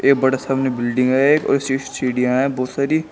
ये बड़ा सामने बिल्डिंग है सीढ़िया है बहुत सारी।